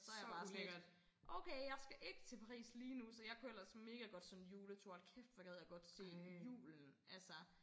Så jeg bare sådan lidt okay jeg skal ikke til Paris lige nu så jeg kunne ellers mega godt sådan en juletur hold kæft hvor gad jeg godt se julen altså